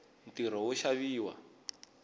ntirho wo xaviwa